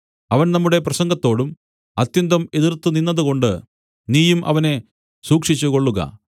അവൻ നമ്മുടെ പ്രസംഗത്തോട് അത്യന്തം എതിർത്തുനിന്നതുകൊണ്ട് നീയും അവനെ സൂക്ഷിച്ചുകൊള്ളുക